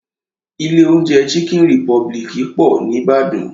Ilé oúnjẹ chicken republic pọ̀ ní Ìbàdàn.